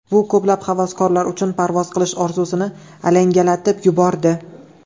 Bu ko‘plab havaskorlar uchun parvoz qilish orzusini alangalatib yubordi.